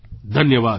ધન્યવાદ